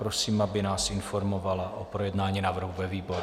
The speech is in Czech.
Prosím, aby nás informovala o projednání návrhu ve výboru.